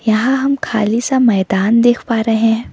यहां हम खाली सा मैदान देख पा रहे हैं।